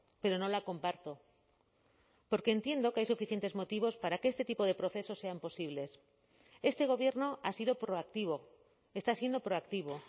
pero no la comparto porque entiendo que hay suficientes motivos para que este tipo de procesos sean posibles este gobierno ha sido proactivo está siendo proactivo